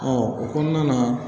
o kɔnɔna na